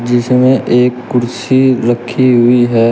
इसमें एक कुर्सी रखी हुई है।